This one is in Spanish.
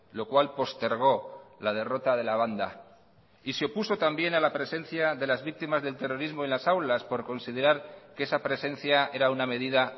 lo cual postergó la derrota de la banda y se opuso también a la presencia de las víctimas del terrorismo en las aulas por considerar que esa presencia era una medida